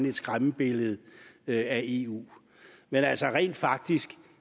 et skræmmebillede af eu men altså rent faktisk